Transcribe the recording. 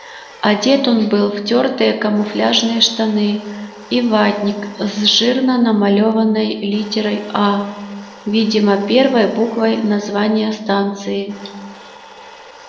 одет он был в тёртые камуфляжные штаны и ватник с жирно намалёванной литерой а видимо первой буквой названия станции